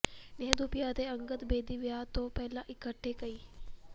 ਨੇਹਾ ਧੂਪੀਆ ਅਤੇ ਅੰਗਦ ਬੇਦੀ ਵਿਆਹ ਤੋਂ ਪਹਿਲਾਂ ਇਕੱਠੇ ਕਈ